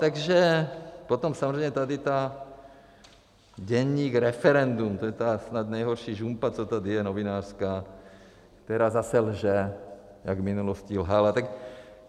Takže potom samozřejmě tady ta, Deník Referendum, to je ta snad nejhorší žumpa, co tady je, novinářská, která zase lže, jak v minulosti lhala.